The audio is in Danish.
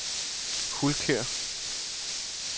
Hulkær